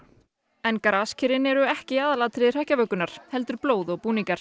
en graskerin eru ekki aðalatriði hrekkjavökunnar heldur blóð og búningar